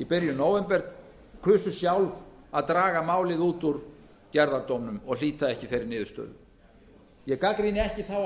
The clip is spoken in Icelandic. í byrjun nóvember kusu sjálf að draga málið út úr gerðardómnum og hlíta ekki þeirri niðurstöðu ég gagnrýni ekki þá